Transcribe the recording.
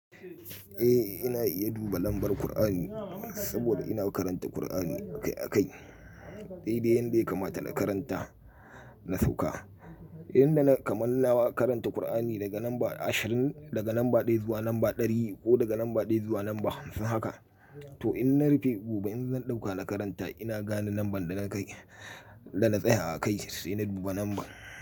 Eh ina iya duba lambar Kur'ani saboda ina karanta Kur'ani akai-akai. Dai dai yanda ya kamata na karanta na sauka. Inda na kamanna na karanta Kur'ani daga lamba ashirin, daga lamba ɗaya zuwa lamba ɗari ko daga lamba ɗaya zuwa lamba hamsin haka. To in na rufe gobe in zan ɗauka na karanta ina gane lamban da na kai, da na tsaya akai sai na duba lambar.